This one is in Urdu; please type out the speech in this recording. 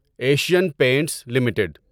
Asian Paints limited